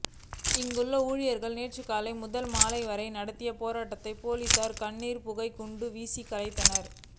இங்குள்ள ஊழியர்கள் நேற்று காலை முதல் மாலை வரை நடத்திய போராட்டத்தை போலீசார் கண்ணீர் புகை குண்டு வீசி கலைத்தனர்